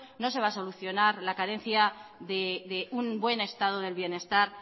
no se va a solucionar la carencia de un buen estado del bienestar